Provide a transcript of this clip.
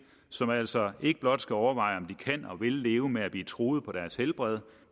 som altså ikke blot skal overveje om de kan og vil leve med at blive truet på deres helbred